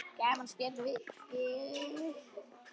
Gaman að spjalla við þig.